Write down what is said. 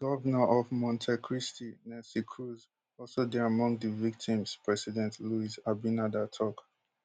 di govnor of monte cristi nelsy cruz also dey among di victims president luis abinader tok